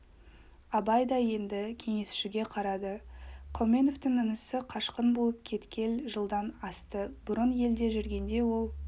абай да енді кеңесшіге қарады қауменовтің інісі қашқын болып кеткел жылдан асты бұрын елде жүргенде ол